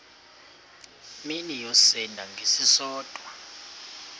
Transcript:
mini yosinda ngesisodwa